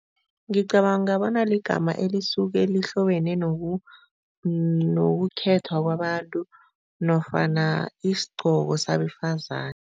Ngicabanga bona ligama elisuke lihlobene nokukhethwa kwabantu nofana isigcoko sabefazane.